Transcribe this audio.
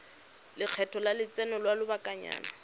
lekgetho la lotseno lwa lobakanyana